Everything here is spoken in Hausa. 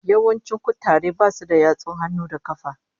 Yawancin kutaren basu da yatsun hannu da kafa